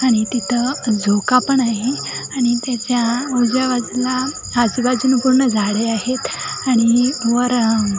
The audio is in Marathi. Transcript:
आणि तिथ झोका पण आहे आणि त्याच्या उजव्या बाजूला अजूबाजून पूर्ण झाडे आहेत आणि वर --